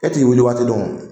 E t'i wuli waati dɔn wo.